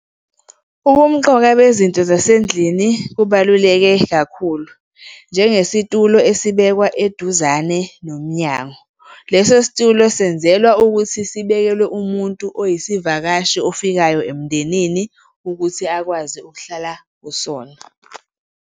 Ubumqoka bezinto zasendlini kubaluleke kakhulu, njengesitulo esibekwa eduzane nomnyango. Leso situlo senzelwa ukuthi sibekelwe umuntu oyisivakashi ofikayo emndenini ukuthi akwazi ukuhlala kusona.